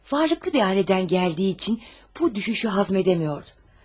Varlıqlı bir ailədən gəldiyi üçün bu düşüşü həzm edəmiyordu.